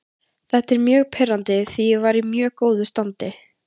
Þetta er mjög pirrandi því ég var í mjög góðu standi.